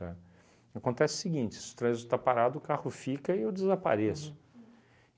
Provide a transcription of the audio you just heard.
Tá? Acontece o seguinte, se o trânsito está parado, o carro fica e eu desapareço. Uhum.